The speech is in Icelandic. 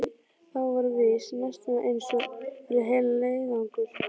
Það var víst næstum eins og fyrir heilan leiðangur.